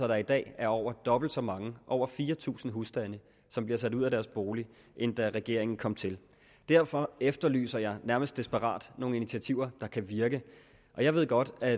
der i dag er over dobbelt så mange over fire tusind husstande som bliver sat ud af deres bolig end da regeringen kom til derfor efterlyser jeg nærmest desperat nogle initiativer der kan virke jeg ved godt at